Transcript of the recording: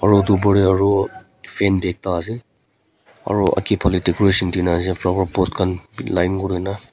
aru upar teh aru fan ek ta ase aru bhal decoration ase flower pot line teh ase.